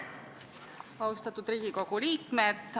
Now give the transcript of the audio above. Austatud Riigikogu liikmed!